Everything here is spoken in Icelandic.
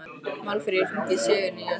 Málfríður, hringdu í Sigurnýjas.